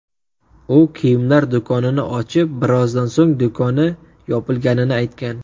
U kiyimlar do‘konini ochib, birozdan so‘ng do‘koni yopilganini aytgan .